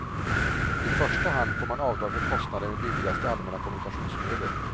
I första hand får man avdrag för kostnader med billigaste allmänna kommunikationsmedel.